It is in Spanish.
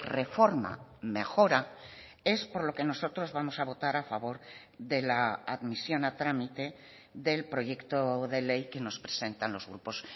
reforma mejora es por lo que nosotros vamos a votar a favor de la admisión a trámite del proyecto de ley que nos presentan los grupos